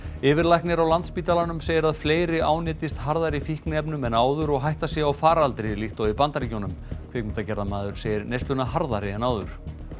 yfirlæknir á Landspítalanum segir að fleiri ánetjist harðari fíknefnum en áður og hætta sé á faraldri líkt og í Bandaríkjunum kvikmyndagerðarmaður segir neysluna harðari en áður